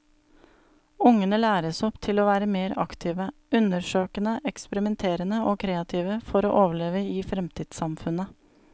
Ungene læres opp til å være mer aktive, undersøkende, eksperimenterende og kreative for å overleve i fremtidssamfunnet.